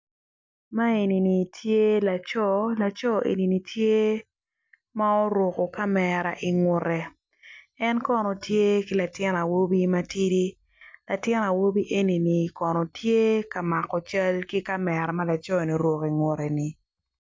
Man enini tye laco lacor enini tye ma oruko kamera ingute en kono tye ki latin awobi matidi latin awobi enini kono tye ka mako cal ki kamera maloco ni oruko ingute ni.